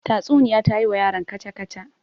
Tatsuniya ta yi wa yaron kaca-kaca.